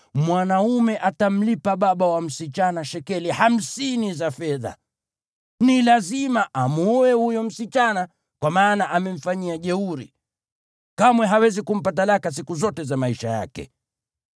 mwanaume atamlipa baba wa msichana shekeli hamsini za fedha. Ni lazima amwoe huyo msichana, kwa maana amemfanyia jeuri. Kamwe hawezi kumpa talaka siku zote za maisha yake.